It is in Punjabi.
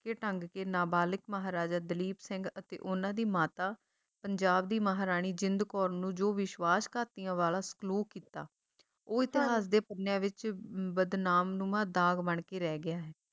ਛਿੱਕੇ ਢੰਗ ਕੇ ਨਾਬਾਲਿਗ ਮਹਾਰਾਜਾ ਦਲੀਪ ਸਿੰਘ ਅਤੇ ਉਹਨਾਂ ਦੀ ਮਾਤਾ ਪੰਜਾਬ ਦੀ ਮਹਾਰਾਣੀ ਜਿੰਦ ਕੌਰ ਨੂੰ ਜੋ ਵਿਸ਼ਵਾਸਘਾਤੀਆਂ ਵਾਲਾ ਸਲੂਕ ਕੀਤਾ ਉਹ ਇਤਿਹਾਸ ਦੇ ਪੰਨਿਆਂ ਵਿੱਚ ਬਦਨਾਮਨੁਮਾ ਦਾਗ ਬਣਕੇ ਰਹਿ ਗਿਆ ਹੈ।